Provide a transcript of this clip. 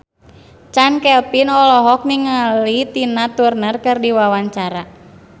Chand Kelvin olohok ningali Tina Turner keur diwawancara